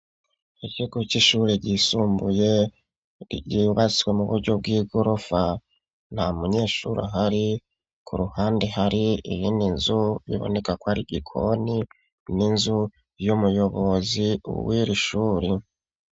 Isoko ryishure ryisumbuye ryubatse mu buryo bgigorofa nta munyeshure ahari kuruhande hari iyindi nzu ibonekako ari igikoni ninzu yumuyobozi wiri shuri .